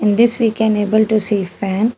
In this we can able to see fan.